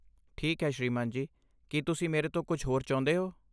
ਠੀਕ ਹੈ ਸ੍ਰੀਮਾਨ ਜੀ, ਕੀ ਤੁਸੀਂ ਮੇਰੇ ਤੋਂ ਕੁੱਝ ਹੋਰ ਚਾਹੁੰਦੇ ਹੋ?